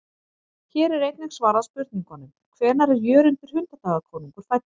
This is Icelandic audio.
Hér er einnig svarað spurningunum: Hvenær er Jörundur hundadagakonungur fæddur?